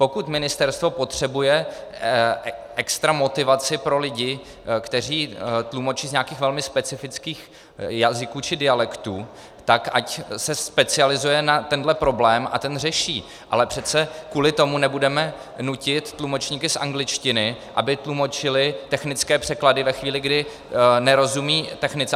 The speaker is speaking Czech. Pokud ministerstvo potřebuje extra motivaci pro lidi, kteří tlumočí z nějakých velmi specifických jazyků či dialektů, tak ať se specializuje na tenhle problém a ten řeší, ale přece kvůli tomu nebudeme nutit tlumočníky z angličtiny, aby tlumočili technické překlady ve chvíli, kdy nerozumí technice.